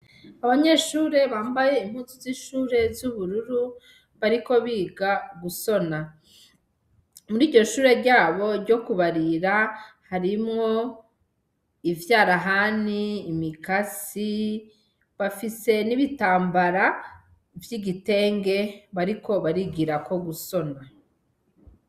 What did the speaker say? Abanyeshure bambaye impuzu z'ishure z'ubururu, bariko biga gusona, muriryo shure ryabo ryo kubarira harimwo ivyarahani, imikasi, bafise n'ibitambara vy'igitenge bariko barigirako gusona.